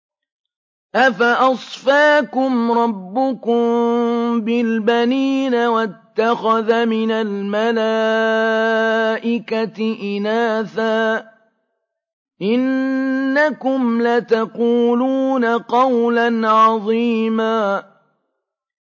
أَفَأَصْفَاكُمْ رَبُّكُم بِالْبَنِينَ وَاتَّخَذَ مِنَ الْمَلَائِكَةِ إِنَاثًا ۚ إِنَّكُمْ لَتَقُولُونَ قَوْلًا عَظِيمًا